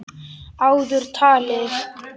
Áður talaði ég.